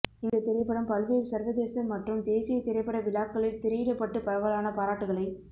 இந்த திரைப்படம் பல்வேறு சர்வதேச மற்றும் தேசிய திரைப்பட விழாக்களில் திரையிடப்பட்டு பரவலான பாராட்டுகளை